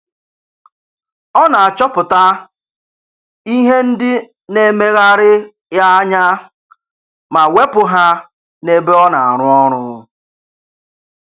Ọ na-achọpụta ihe ndị na-emegharị ya anya ma wepụ ha n'ebe ọ na-arụ ọrụ